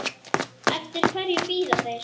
Eftir hverju bíða þeir?